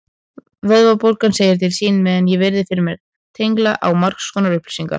Vöðvabólgan segir til sín meðan ég virði fyrir mér tengla á margskonar upplýsingar.